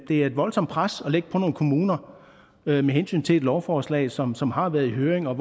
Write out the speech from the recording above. det er et voldsomt pres at lægge på nogle kommuner med hensyn til et lovforslag som som har været i høring og